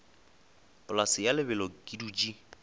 polase ya lebelo ke dutše